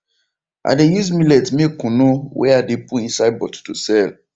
i de use millet make kunu wey i de put inside bottle to sell